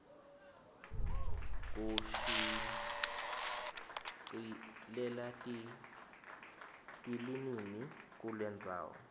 kushicilela tilinimi kucendzawo